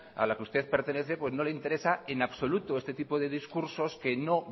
a la que usted pertenece pues no le interesa en absoluto este tipo de discursos que no